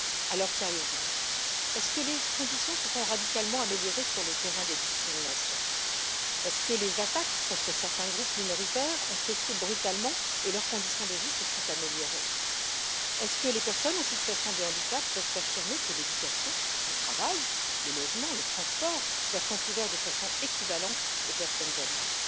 Alors, sérieusement, est ce que les conditions se sont radicalement améliorées sur le terrain des discriminations? Est ce que les attaques contre certains groupes minoritaires ont cessé brutalement et leurs conditions de vie se sont améliorées? Est ce que les personnes en situation de handicap peuvent affirmer que l'éducation, le travail, le logement, le transport leur sont ouverts de façon équivalente aux personnes valides?